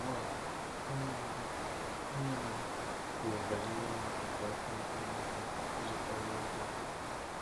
Ugbu a, onye ndu onye ndu kwuru banyere imesapụ aka ndị Enugu iji kpalie ndị obodo.